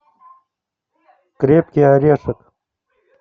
крепкий орешек